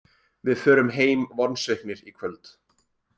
Við förum heim vonsviknir í kvöld